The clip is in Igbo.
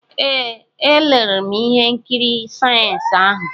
Ee, elere m ihe nkiri sayensị ahụ.